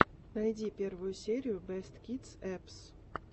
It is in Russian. найди первую серию бэст кидс эппс